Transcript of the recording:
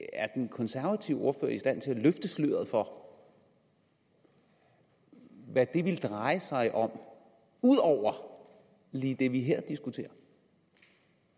den konservative ordfører i stand til at løfte sløret for hvad det ville dreje sig om ud over lige det vi her diskuterer